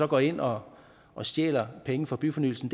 går ind og og stjæler penge fra byfornyelsen